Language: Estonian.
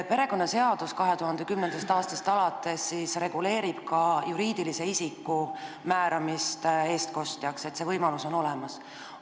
Perekonnaseadus reguleerib 2010. aastast alates ka juriidilise isiku eestkostjaks määramist, see võimalus on olemas.